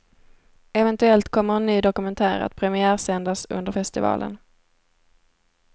Eventuellt kommer en ny dokumentär att premiärsändas under festivalen.